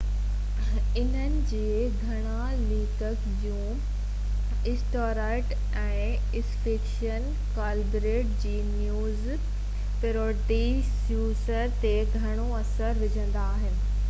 انهن جي گهڻا ليکڪ جون اسٽيوارٽ ۽ اسٽيفن ڪالبرٽ جي نيوز پيروڊي شوز تي گهڻو اثر وجهندا آهن